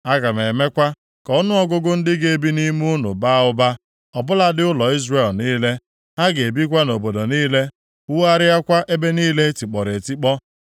Aga m emekwa ka ọnụọgụgụ ndị ga-ebi nʼime unu baa ụba, ọ bụladị ụlọ Izrel niile. Ha ga-ebikwa nʼobodo niile, wugharịakwa ebe niile e tikpọrọ etikpọ.